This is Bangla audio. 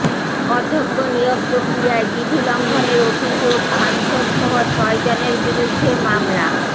অধ্যক্ষ নিয়োগ প্রক্রিয়ায় বিধি লঙ্ঘনের অভিযোগ সাংসদসহ ছয়জনের বিরুদ্ধে মামলা